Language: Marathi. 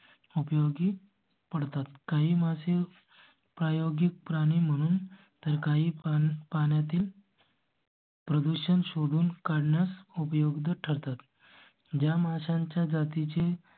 उपयोगी पडतात. काही मासे प्रायोगिक प्राणी म्हणून तर का ही पण पाण्या तील. प्रदूषण शोधून काढण्यास उपयोग ठरतात. जा माशांच्या जाती चे